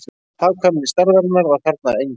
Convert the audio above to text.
Hagkvæmni stærðarinnar var þarna engin